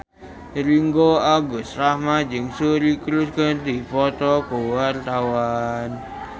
Ringgo Agus Rahman jeung Suri Cruise keur dipoto ku wartawan